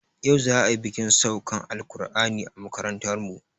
Yau za ayi bikin saukan alƙur'ani a makarantarmu